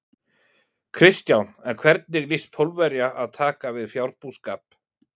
Kristján: En hvernig lýst Pólverja að taka við fjárbúskap?